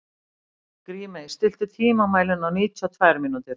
Grímey, stilltu tímamælinn á níutíu og tvær mínútur.